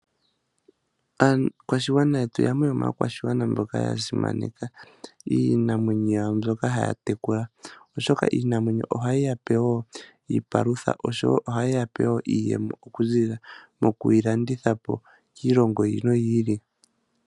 Aakwashigwana yetu yamwe yomaakwashigwana mboka ya simaneka iinamwenyo yawo mbyoka haya tekula, oshoka iinamwenyo ohayi ya pe wo iipalutha. Ohayi ya pe wo iimaliwa okuziilila moku yi landitha po kiilongo yi ili noyi ili.